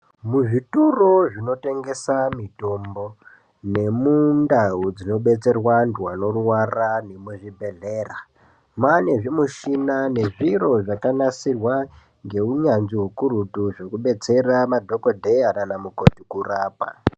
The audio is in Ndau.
Muzvitoro zvinotengesa mitombo, nemundau dzinobetserwa antu anorwara nemuzvibhehlera mane zvimushina nezviro zvakanasirwa ngeunyanzvi ukurutu zvekubetsera madhokodheya kana mukoti kurapa.